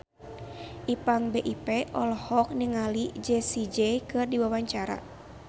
Ipank BIP olohok ningali Jessie J keur diwawancara